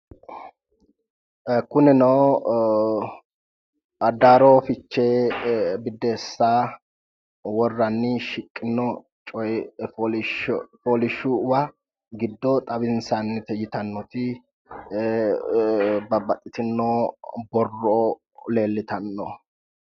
Kunino addaarro fiche biddeessa worranni shiqino coyi fooliisho fooliishuwa giddo xawinsannite yitannoti babbaxxitino borro leellitanno